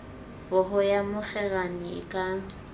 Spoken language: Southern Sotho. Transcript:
poho ya mokgerane e ka